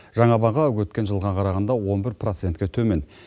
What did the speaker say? жаңа баға өткен жылға қарағанда он бір процентке төмен